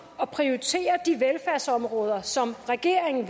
at prioritere de velfærdsområder som regeringen